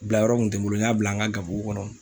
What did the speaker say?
Bila yɔrɔ kun tɛ n bolo, n y'a bila n ka garibuw kɔnɔ.